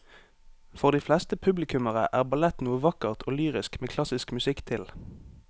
For de fleste publikummere er ballett noe vakkert og lyrisk med klassisk musikk til.